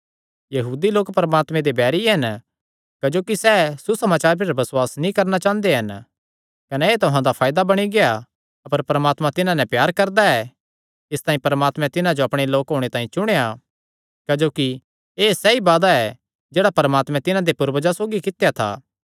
यहूदी लोक परमात्मे दे बैरी हन क्जोकि सैह़ सुसमाचारे पर बसुआस नीं करणा चांह़दे हन कने एह़ तुहां दे फायदा बणी गेआ अपर परमात्मा तिन्हां नैं प्यार करदा ऐ इसतांई परमात्मे तिन्हां जो अपणे लोक होणे तांई चुणेया क्जोकि एह़ सैई वादा ऐ जेह्ड़ा परमात्मे तिन्हां दे पूर्वजां सौगी कित्या था